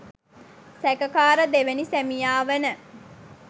සැකකාර දෙවැනි සැමියා වන